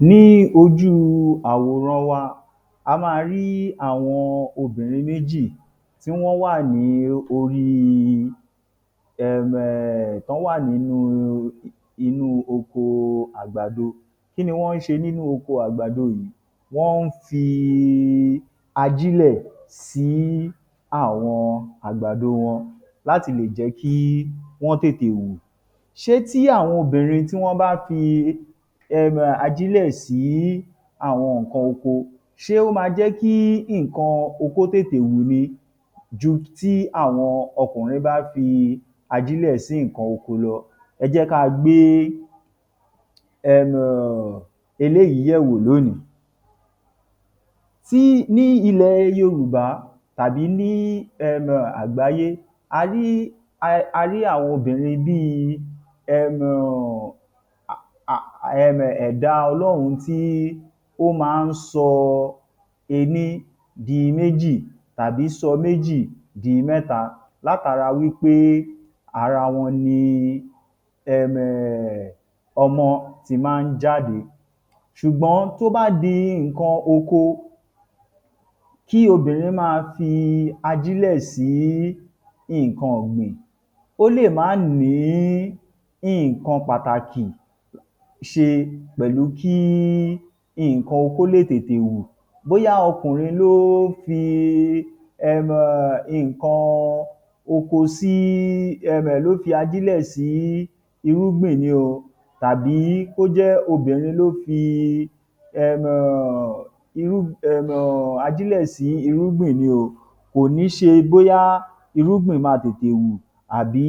Ní ojúu àwòran wa, a máa rí àwọn obìnrin méjì tí wọ́n wà ní orí um tán wà nínúu inúu okoo àgbàdo. Kí ni wọ́n ń ṣe nínu oko àgbàdo yìí? Wọ́n ń fi ajílẹ̀ sií àwọn àgbàdo wọn láti lè jẹ́ kí wọ́n tètè wù. Ṣé tí àwọn obìnrin tí wọ́n bá ki um ajílẹ̀ síí àwọn nǹkan oko, ṣé ó ma jẹ́ kí nǹkan oko tètè wù ni ju tí àwọn ọkùnrin bá fi ajílẹ̀ sí nǹkan oko lọ. Ẹ jẹ́ káa gbé um eléyìí yẹ̀wò lónìí. Tí ní ilẹ̀ Yorùbá tàbí lí um àgbáyé, a rí a rí àwọn obìnrin bí i um ẹ̀dá Ọlọ́run tí ó má ń sọ ení di méjì tàbí sọ méjì di mẹ́ta látara wí pé ara wọn ni um ọmọ ti má ń jáde. Ṣùgbọ́n tó bá di nǹkan oko, kí obìnrin máa fi ajílẹ̀ sí nǹkan ọ̀gbìn ó lè má ní nǹkan pàtàkì ṣe pẹ̀lú kí nǹkan oko lè tètè wù. Bóyá ọkùnrin ló fi um nǹkan oko síi um ló fi ajílẹ̀ sí irúgbìn ni o tàbí kó jẹ́ obìnrin ló fi um ajílẹ̀ um sí irúgbìn ni o, kò ní ṣe bóyá irúgbìn máa tètè wù àbí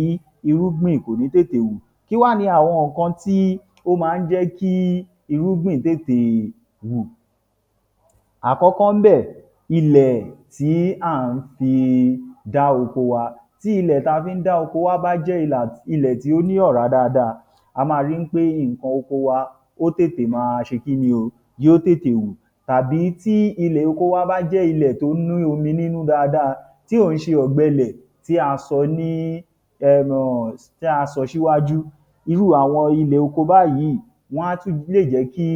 irúgbìn kò ní tètè wù. Kí wá ni àwọn nǹkan tí ó má ń jẹ́ kí irúgbìn tètè wù? Àkọ́kọ́ ńbẹ̀, ilẹ̀ tí à ń fi dá oko wa. Tí ilè tá a fi ń dá oko wa bá jẹ́ ilẹ̀ tí ó ní ọ̀rá dáadáa, a máa rí wí pé nǹkan oko wa ó tètè máa ṣe kíni o yóó tètè wù tàbí tí ilẹ̀ oko wa bá jẹ́ ilẹ̀ tó ní omi nínú dáadáa, tí ò ń ṣe ọ̀gbẹlẹ̀ tí a sọ ní um tí a sọ níwájú, irú àwọn ilẹ̀ oko báyìí, wọ́n á tún lè jẹ́ kí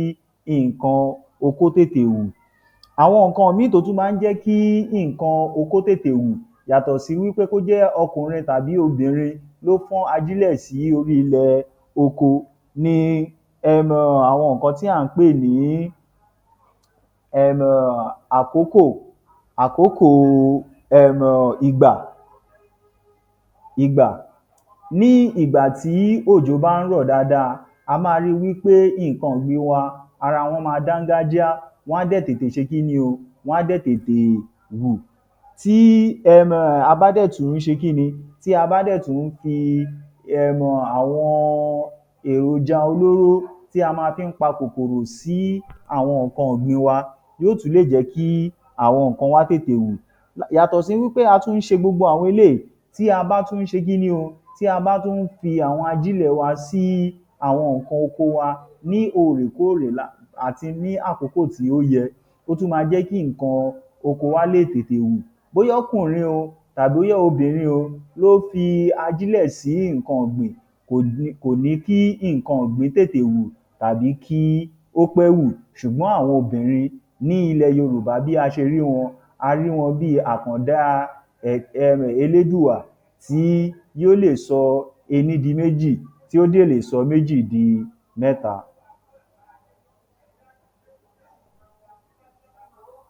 nǹkan oko tètè wù. Àwọn nǹkan míì tó tún má ń jẹ́ kí nǹkan oko tètè wù yàtọ̀ sí wí pé kó jẹ́ ọkùnrin tàbí obìnrin ló fọ́n ajílẹ̀ sí orí ilẹ̀ oko ni um àwọn nǹkan tí à ń pè ní um àkókò àkókòo um ìgbà. Ní ìgbà tí òjò bá ń rọ̀ dáadáa, a máa rí i wí pé nǹkan ọ̀gbìn wa ara wọn máa dáńgájíá, wọ́n á dẹ̀ tètè ṣe kíni o, wọ́n á dè tètè wù. Tí um a bá dẹ̀ tún ṣe kíni o, tí a bá dẹ̀ tún fi um àwọn èròjà olóró tí a ma fí ń pa kòkòrò síí àwọn nǹkan ọ̀gbin wa, yóó tún lè jẹ́ kí àwọn nǹkan wa tètè wù. Yàtọ̀ sí wí pé a tún ṣe gbogbo àwọn eléyìí tí a bá tún ṣe kíni o, tí a bá tún ń fi àwọn ajílẹ̀ wa sí àwọn nǹkan oko wa ní òòrè kóòrè àti ní àkókò tí ó yẹ, ó tún ma jẹ́ kí nǹkan oko wa lè tètè wù. Bóyá ọkùnrin o tàbí bóyá obìnrin ló fi ajílẹ̀ sí nǹkan ọ̀gbìn, kò ní kò ní kí nǹkan ọ̀gbìn tètè wù tàbí kí ó pẹ́ wù, ṣùgbọ́n àwọn obìnrin ní ilẹ̀ Yorùbá bí a ṣe rí wọn, a rí wọn bí i um àkàndá Elédùà tí yóó lè sọ ení di méjì tí yó dẹ̀ lè sọ méjì di mẹ́ta.